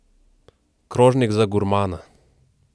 Krožnik za gurmana!